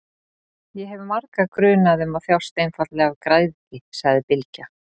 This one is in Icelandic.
Ég hef marga grunaða um að þjást einfaldlega af græðgi, sagði Bylgja.